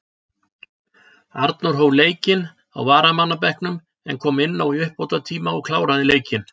Arnór hóf leikinn á varamannabekknum en kom inná í uppbótartíma og kláraði leikinn.